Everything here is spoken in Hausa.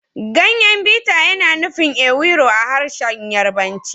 Ganyen biter yana nufin ewuro a harshen Yarbanci